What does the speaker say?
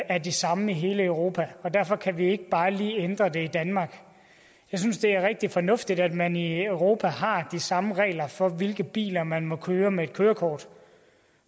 er de samme i hele europa derfor kan vi ikke bare lige ændre det i danmark jeg synes det er rigtig fornuftigt at man i europa har de samme regler for hvilke biler man må køre med et kørekort